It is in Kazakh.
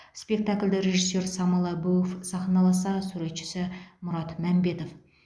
спектакльді режиссер самал әбуов сахналаса суретшісі мұрат мәмбетов